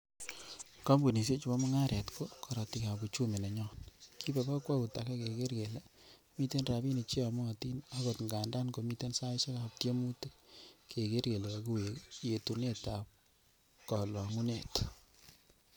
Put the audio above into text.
Kompunisiechu bo mungaret ko korotik ab uchumi nenyon, kiibe kokwout age kegeer kele miten rabinik cheyomotin agon ngandan komiten saisiek ab tiemutik, kegeer kele kakiwek yetunet ab kolo ngungunet.